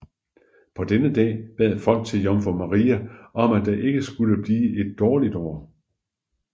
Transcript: På denne dagen bad folk til jomfru Maria om at det ikke skulle blive et dårligt år